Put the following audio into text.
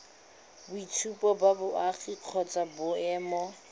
boitshupo ba boagi kgotsa boemo